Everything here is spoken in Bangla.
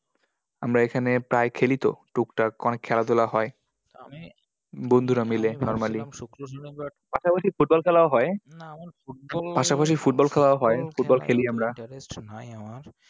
আমরা এখানে প্রায় খেলি তো, টুকটাক অনেক খেলাধুলা হয়। আমি বন্ধুরা মিলে normally শুক্র শনিবার, পাশাপাশি football খেলাও হয়। না আমার football পাশাপাশি football খেলাও হয়। Football খেলি আমরা। interest নাই আমার।